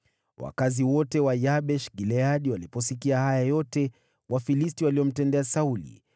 Wakazi wote wa Yabeshi-Gileadi waliposikia yote Wafilisti waliyomtendea Sauli,